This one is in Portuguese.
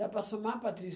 Dá para somar, Patrícia?